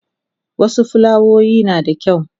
wasu fulawoyin nada kyau